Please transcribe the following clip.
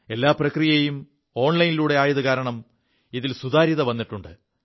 എല്ലാ പ്രക്രിയയും ഓലൈനിലൂടെ ആയതു കാരണം ഇതിൽ സുതാര്യത വിുണ്ട്